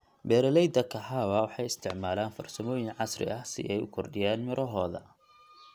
Beeraleyda kahawa waxay isticmaalaan farsamooyin casri ah si ay u kordhiyaan mirohooda.